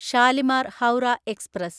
Shalimar (Howrah) express